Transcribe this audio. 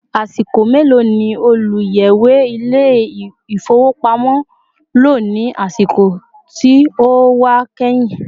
Asiko melo ni oluyẹwe Ilé-ifowopamo lọ ní àsìkò tí ó wà kehin